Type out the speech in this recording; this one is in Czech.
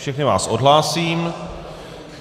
Všechny vás odhlásím.